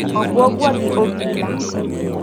Obuogwa gi obila.